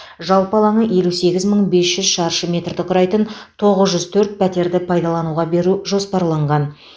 жалпы алаңы елу сегіз мың бес жүз шаршы метрді құрайтын тоғыз жүз төрт пәтерді пайдалануға беру жоспарланған